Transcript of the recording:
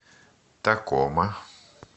такома